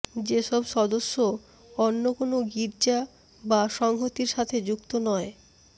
যেসব সদস্য অন্য কোন গির্জা বা সংহতির সাথে যুক্ত নয়